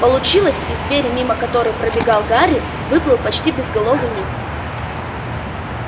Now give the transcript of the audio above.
получилось из двери мимо которой пробегал гарри выплыл почти безголовый ник